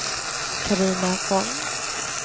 Carina Von